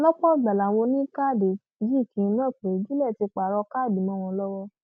lọpọ ìgbà làwọn oníkáàdì yìí kì í mọ pé juliet ti pààrọ káàdì mọ wọn lọwọ